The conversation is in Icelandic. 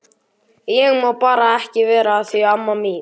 Ég má bara ekki vera að því amma mín.